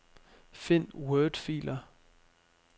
Find wordfiler.